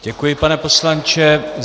Děkuji, pane poslanče.